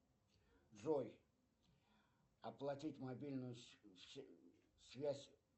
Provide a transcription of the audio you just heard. джой оплатить мобильную связь